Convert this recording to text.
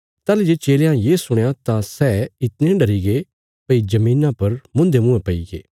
ताहली जे चेलयां ये सुणया तां सै इतणे डरीगे भई धरतिया पर मुन्धे मुँयें पैईगे